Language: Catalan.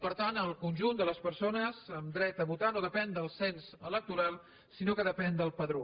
per tant el conjunt de les persones amb dret a votar no depèn del cens electoral sinó que depèn del padró